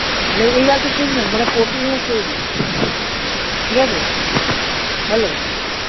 মানে এই আছে সেই নাই মানে মানে প্রতিদিনের story ঠিক আছে হম hello